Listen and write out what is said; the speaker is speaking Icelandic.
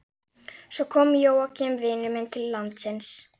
Svo kom Jóakim vinur minn til landsins.